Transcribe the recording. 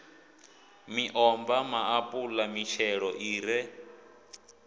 miomva maapula mitshelo i re